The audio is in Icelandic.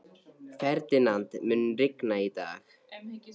Ferdinand, mun rigna í dag?